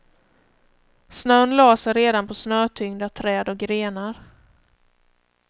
Snön lade sig på redan snötyngda träd och grenar.